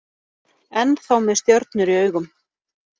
Ennþá með stjörnur í augum